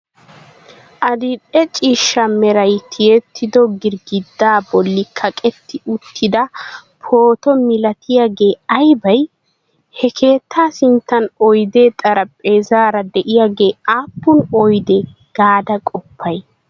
Adil"e ciishsha meray tiyettido girggiddaa bolli kaqetti uttida pooto milatiyagee aybay? Ha keettaa sinttan oydee xarphpheezzaara de'iyagee aappun oyde gaada qoppay?